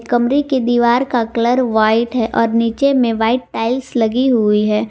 कमरे की दीवार का कलर व्हाइट है और नीचे में व्हाइट टाइल्स लगी हुई है।